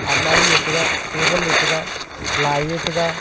amari ye tega table ye tega lai yeta ga.